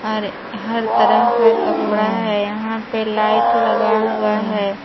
और हर तरह का कपड़ा है यहां पे लाइट लगा हुआ है।